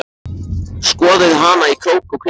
Skoðaði hana í krók og kring.